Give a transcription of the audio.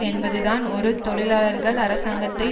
என்பதுதான் ஒரு தொழிலாளர்கள் அரசங்கத்தை